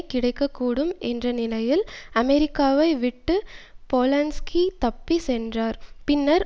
கிடைக்க கூடும் என்ற நிலையில் அமெரிக்காவை விட்டு போலன்ஸ்கி தப்பி சென்றார் பின்னர்